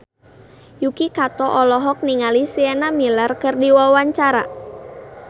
Yuki Kato olohok ningali Sienna Miller keur diwawancara